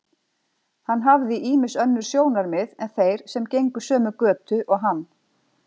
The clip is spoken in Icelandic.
Hann hafði í ýmsu önnur sjónarmið en þeir sem gengu sömu götu og hann.